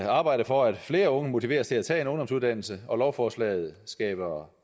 arbejde for at flere unge motiveres til at tage en ungdomsuddannelse og lovforslaget skaber